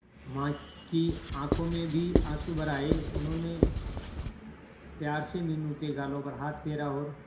मां की आंखों में भी आंसू भर आए उन्होंने प्यार से मीनू के गालों पर हाथ फेरा और